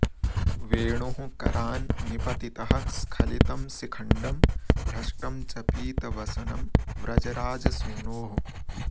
वेणुः करान् निपतितः स्खलितं शिखण्डं भ्रष्टं च पीतवसनं व्रजराजसूनोः